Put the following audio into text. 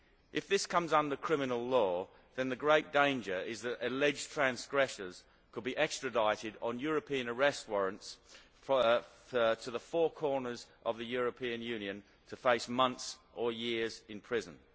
If this comes under criminal law, the great danger is that alleged transgressors could be extradited on European arrest warrants to the four corners of the European Union to face months or years in prison.